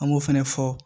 An b'o fɛnɛ fɔ